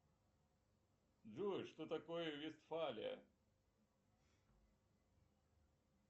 джой что такое вестфалия